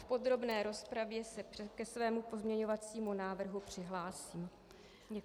V podrobné rozpravě se ke svému pozměňovacímu návrhu přihlásím.